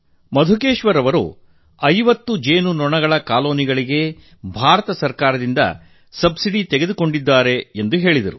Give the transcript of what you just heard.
ಮಧುಕೇಶ್ವರ್ 50 ಜೇನುನೊಣಗಳ ಕಾಲೋನಿಗಳಿಗೆ ಭಾರತ ಸರ್ಕಾರದಿಂದ ಸಬ್ಸಿಡಿ ತೆಗೆದುಕೊಂಡಿದ್ದಾರೆಂದು ತಿಳಿಸಿದ್ದಾರೆ